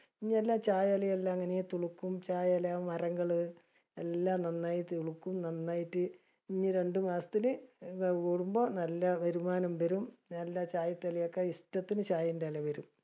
ഇനിയെല്ലാ ചായ ഇലയെല്ല ഇങ്ങിനെ തുളുക്കും. ചായ എല, മരങ്ങള്. എല്ലാം നന്നായി തുളുക്കും. നന്നായിട്ട് ഇനി രണ്ടു മാസത്തിന് നല്ല വരുമാനം വരും. നല്ല ചായ തലയൊക്കെ ഇഷ്ടത്തിന് ചായേന്റെ എല വരും.